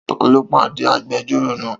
Ta ló pàdé agbẹjọ́rò náà?